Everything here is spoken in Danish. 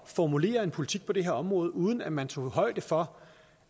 formulere en politik på det her område uden at man tog højde for